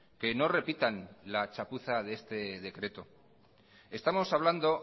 que no repitan la chapuza de este decreto estamos hablando